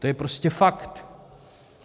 To je prostě fakt.